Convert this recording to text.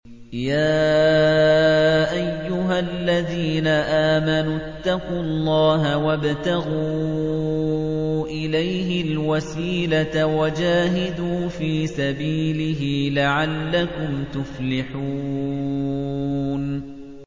يَا أَيُّهَا الَّذِينَ آمَنُوا اتَّقُوا اللَّهَ وَابْتَغُوا إِلَيْهِ الْوَسِيلَةَ وَجَاهِدُوا فِي سَبِيلِهِ لَعَلَّكُمْ تُفْلِحُونَ